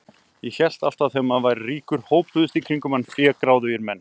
Ég hélt alltaf að þegar maður væri ríkur hópuðust í kringum mann fégráðugir menn.